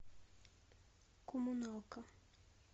комуналка